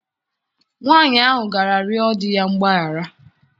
Nwaanyị ahụ gara rịọ di ya mgbaghara.